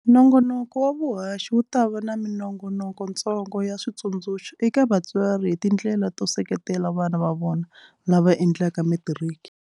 Nongonoko wa vuhaxi wu ta va na minongonokontsongo ya switsundzuxo eka vatswari hi tindlela to seketela vana va vona lava endlaka Metiriki.